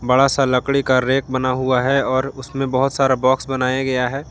बड़ा सा लकड़ी का रैक बना हुआ है और उसमें बहोत सारा बॉक्स बनाया गया है।